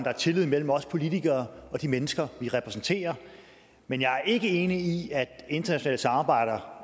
der er tillid mellem os politikere og de mennesker vi repræsenterer men jeg er ikke enig i at internationale samarbejder